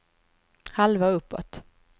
halva uppåt